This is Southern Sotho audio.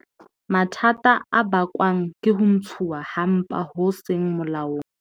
Mathata a bakwang ke ho ntshuwa ha mpa ho seng molaong